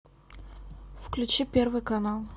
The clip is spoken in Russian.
включи первый канал